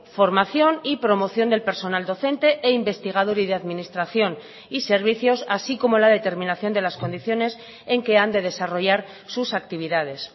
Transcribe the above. formación y promoción del personal docente e investigador y de administración y servicios así como la determinación de las condiciones en que han de desarrollar sus actividades